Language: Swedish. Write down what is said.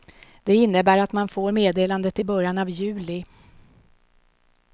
Det innebär att man får meddelandet i början av juli.